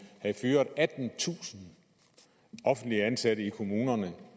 havde fyret attentusind offentligt ansatte i kommunerne